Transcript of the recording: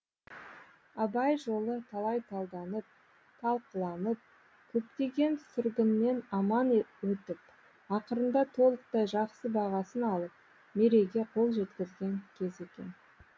абай жолы талай талданып талқыланып көптеген сүргіннен аман өтіп ақырында толықтай жақсы бағасын алып мерейге қол жеткізген кез екен